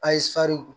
A ye